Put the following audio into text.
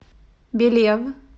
белев